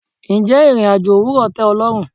Ǹjẹ́ ìrìn-àjò òwúrò tẹ o lọ́run?